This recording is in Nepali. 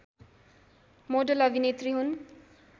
मोडेल अभिनेत्री हुन्